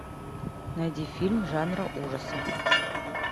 найди фильм жанра ужасы